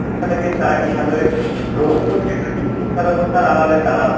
শিক্ষাব্যবস্থাটাকে তারা কী সাদরে গ্রহন করছে না শিক্ষাব্যবস্থার আড়ালে তারা ,